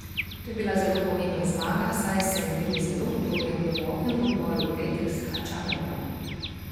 To je bila zelo pomembna zmaga, saj sem bil zelo utrujen po dolgem dvoboju v petek s Hačanovom.